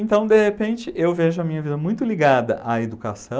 Então, de repente, eu vejo a minha vida muito ligada à educação